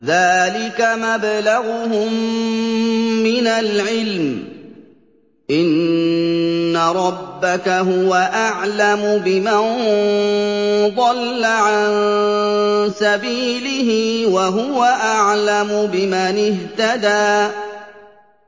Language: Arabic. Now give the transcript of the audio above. ذَٰلِكَ مَبْلَغُهُم مِّنَ الْعِلْمِ ۚ إِنَّ رَبَّكَ هُوَ أَعْلَمُ بِمَن ضَلَّ عَن سَبِيلِهِ وَهُوَ أَعْلَمُ بِمَنِ اهْتَدَىٰ